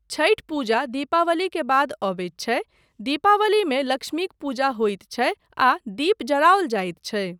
छठ पूजा दीपावली के बाद अबैत छै, दीपावलीमे लक्ष्मीक पूजा होइत छै आ दीप जराओल जाइत छै।